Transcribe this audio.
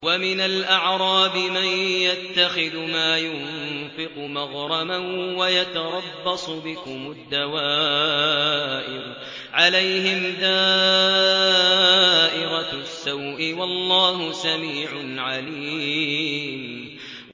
وَمِنَ الْأَعْرَابِ مَن يَتَّخِذُ مَا يُنفِقُ مَغْرَمًا وَيَتَرَبَّصُ بِكُمُ الدَّوَائِرَ ۚ عَلَيْهِمْ دَائِرَةُ السَّوْءِ ۗ وَاللَّهُ سَمِيعٌ عَلِيمٌ